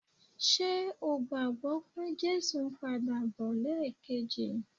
Ṣe o gbàgbọ́ pé Jésù ń padà bọ̀ lẹ́ẹ̀kejì?